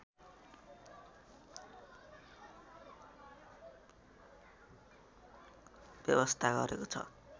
व्यवस्था गरेको छ